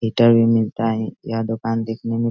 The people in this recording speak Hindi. मिठाई भी मिलता है यह दुकान देखने में --